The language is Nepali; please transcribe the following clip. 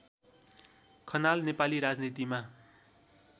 खनाल नेपाली राजनीतिमा